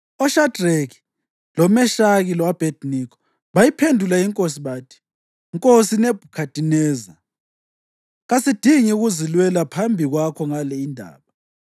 OShadreki, loMeshaki lo-Abhediniko bayiphendula inkosi bathi, “Nkosi Nebhukhadineza, kasidingi kuzilwela phambi kwakho ngale indaba.